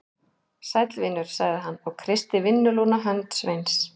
Sæll vinur, sagði hann og kreisti vinnulúna hönd Sveins.